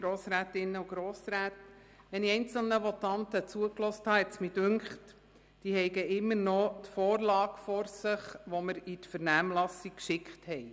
Als ich einzelnen Votanten zugehört habe, schien mir, dass diese immer noch die Vorlage vor sich haben, die wir in die Vernehmlassung schickten.